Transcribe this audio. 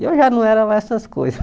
E eu já não era lá essas coisas.